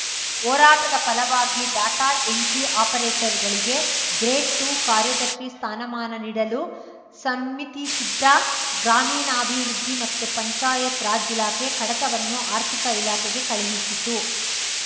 ಹೋರಾಟದ ಫಲವಾಗಿ data entry ಆಪರೇಟರ್‌ಗಳಿಗೆ grade two ಕಾರ್ಯದರ್ಶಿ ಸ್ಥಾನಮಾನ ನೀಡಲು ಸಮ್ಮಿತಿಸಿದ್ದ ಗ್ರಾಮೀಣಾಭಿವೃದ್ದಿ ಮತ್ತು ಪಂಚಾಯತ್‌ರಾಜ್‌ ಇಲಾಖೆ ಕಡತವನ್ನು ಆರ್ಥಿಕ ಇಲಾಖೆಗೆ ಕಳುಹಿಸಿತ್ತು